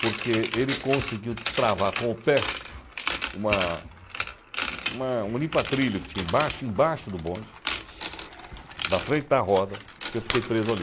Porque ele conseguiu destravar com o pé uma uma um limpa-trilho que tinha embaixo embaixo do bonde, na frente da roda, e eu fiquei preso ali.